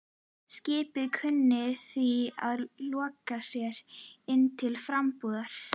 Skipið kunni því að lokast hér inni til frambúðar.